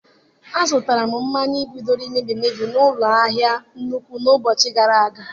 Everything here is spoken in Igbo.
Azụtara m mmanya mebigoro emebi n'ụlọ ahịa nnukwu na ụbọchị gara aga.